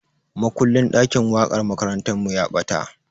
Makullin ɗakin waƙar makarantarmu ya ɓata.